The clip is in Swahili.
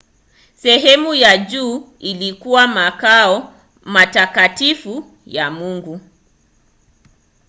sehemu ya juu ilikuwa makao matakatifu ya mungu